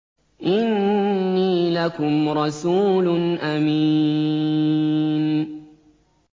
إِنِّي لَكُمْ رَسُولٌ أَمِينٌ